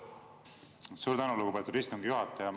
Suur tänu, lugupeetud istungi juhataja!